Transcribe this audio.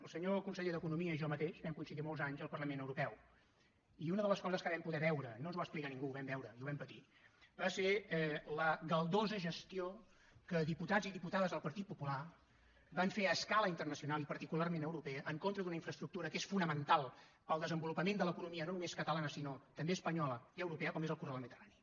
el senyor conseller d’economia i jo mateix vam coincidir molts anys al parlament europeu i una de les coses que vam poder veure i no ens ho va explicar ningú ho vam veure i ho vam patir va ser la galdosa gestió que diputats i diputades del partit popular van fer a escala internacional i particularment europea en contra d’una infraestructura que és fonamental per al desenvolupament de l’economia no només catalana sinó també espanyola i europea com és el corredor mediterrani